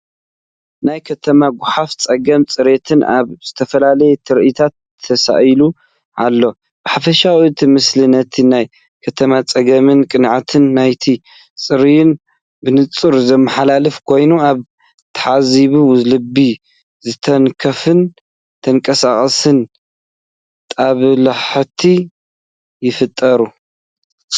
ናይ ከተማ ጎሓፍን ፀገም ፅሬትን ኣብ ዝተፈላለዩ ትርኢታት ተሳኢሉ ኣሎ። ብሓፈሻ እቲ ምስሊ ነቲ ናይ ከተማ ጸገምን ቅንዕና ናይቲ ጻዕርን ብንጹር ዘመሓላልፍ ኮይኑ፡ ኣብ ተዓዛቢ ልቢ ዝትንክፍን ተንቀሳቓስን ጦብላሕታ ይፈጥር።